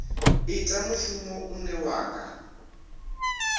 ita mushumo une wa nga